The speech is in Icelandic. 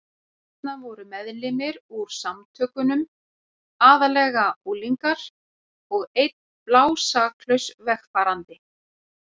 Þarna voru meðlimir úr Samtökunum, aðallega unglingar, og einn blásaklaus vegfarandi.